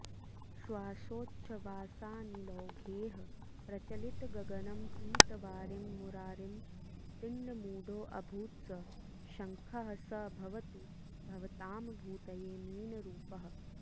श्वासोच्छ्वासानिलौघैः प्रचलितगगनं पीतवारिं मुरारिं दिङ्मूढोऽभूत्स शङ्खः स भवतु भवतां भूतये मीनरूपः